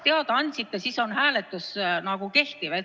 Aga ma ei saa ju sellel hetkel sellest teada anda.